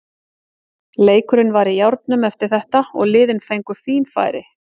Leikurinn var í járnum eftir þetta og liðin fengu fín færi.